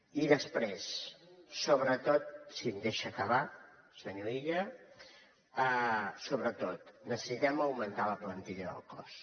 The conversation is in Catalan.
i després sobretot si em deixa acabar senyor illa necessitem augmentar la plantilla del cos